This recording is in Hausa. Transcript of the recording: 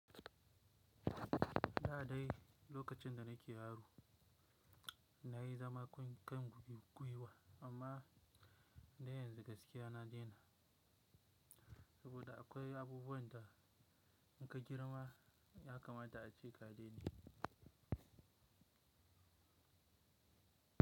Daa dai lokacin da nake yaro nayi zaman kai mugugwiwa amma da yanzu gaskiya na dena saboda akwai abubuwan da in ka girma ya kamata ace ka daina.